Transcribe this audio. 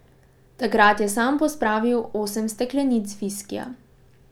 Takrat je sam pospravil osem steklenic viskija.